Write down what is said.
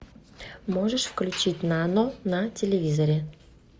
можешь включить нано на телевизоре